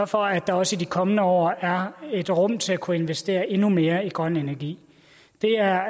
for at der også i de kommende år er et rum til at kunne investere endnu mere i grøn energi det er